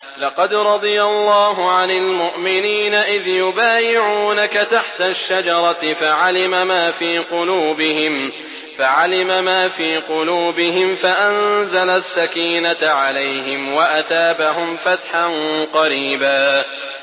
۞ لَّقَدْ رَضِيَ اللَّهُ عَنِ الْمُؤْمِنِينَ إِذْ يُبَايِعُونَكَ تَحْتَ الشَّجَرَةِ فَعَلِمَ مَا فِي قُلُوبِهِمْ فَأَنزَلَ السَّكِينَةَ عَلَيْهِمْ وَأَثَابَهُمْ فَتْحًا قَرِيبًا